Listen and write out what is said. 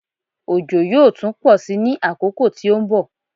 Òjò yóò tún pọ̀ sí ní àkókò tí ó ń bọ̀.